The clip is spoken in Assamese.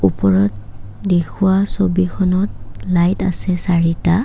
ওপৰত দেখুওৱা ছবিখনত লাইট আছে চাৰিটা।